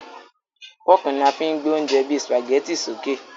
Fọ́ọ́kì ni a fí ń gbé oúnjẹ bíi Sùpàgẹ́tì sókè